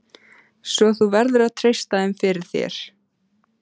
Svo þú verður að treysta þeim fyrir. þér.